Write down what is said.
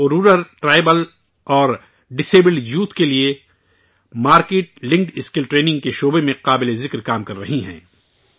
وہ rural tribal اور disable youth کے لئے مارکٹ لنکڈ اسکل ٹریننگ کے شعبے میں قابل ذکر کام کررہی ہیں